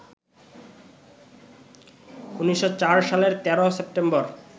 ১৯০৪ সালের ১৩ সেপ্টেম্বর